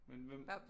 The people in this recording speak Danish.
Men hvem